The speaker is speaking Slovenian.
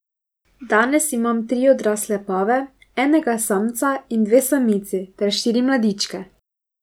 Danes imata tri odrasle pave, enega samca in dve samici, ter štiri mladičke.